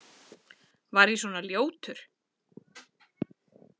Var ég svona ljótur?